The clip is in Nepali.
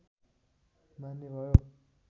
मान्य भयो